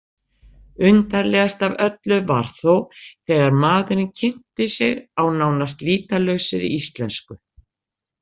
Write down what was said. Undarlegast af öllu var þó þegar maðurinn kynnti sig á nánast lýtalausri íslensku.